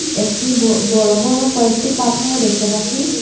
একটি ব বড় বড় কয়েকটি পাথরও দেখতে পাচ্ছি।